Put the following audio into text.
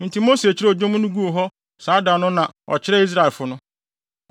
Enti Mose kyerɛw dwom no guu hɔ saa da no na ɔkyerɛɛ Israelfo no.